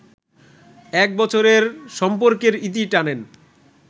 এক বছরের সম্পর্কের ইতি টানেন